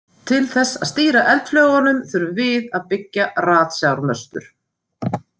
Til þess að stýra eldflaugunum þurfum við að byggja ratsjármöstur.